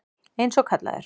Eins og kallaður.